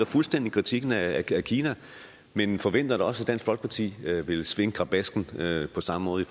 fuldstændig kritikken af kina men forventer da også at dansk folkeparti vil svinge krabasken på samme måde i